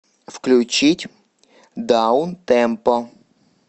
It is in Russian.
включить даунтемпо